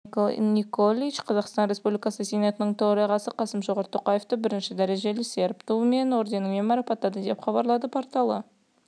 сербия президенті томислав николич қазақстан республикасы сенатының төрағасы қасым-жомарт тоқаевты бірінші дрежелі серб туы орденімен марапаттады деп хабарлады порталы